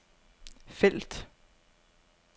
felt